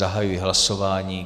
Zahajuji hlasování.